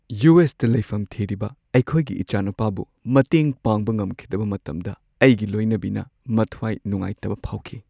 U. S. ꯇ ꯂꯩꯐꯝ ꯊꯤꯔꯤꯕ ꯑꯩꯈꯣꯏꯒꯤ ꯏꯆꯥꯅꯨꯄꯥꯕꯨ ꯃꯇꯦꯡ ꯄꯥꯡꯕ ꯉꯝꯈꯤꯗꯕ ꯃꯇꯝꯗ ꯑꯩꯒꯤ ꯂꯣꯏꯅꯕꯤꯅ ꯃꯊ꯭ꯋꯥꯏ ꯅꯨꯡꯉꯥꯏꯇꯕ ꯐꯥꯎꯈꯤ꯫